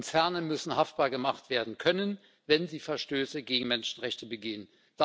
Konzerne müssen haftbar gemacht werden können, wenn sie Verstöße gegen Menschenrechte begehen.